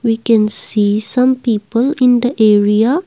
we can see some people in the area.